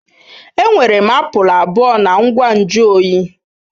Enwere m apụl abụọ na ngwa nju oyi.